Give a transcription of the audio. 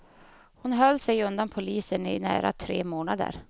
Hon höll sig undan polisen i nära tre månader.